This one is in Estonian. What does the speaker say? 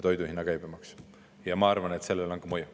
Ma arvan, et sellel on mõju.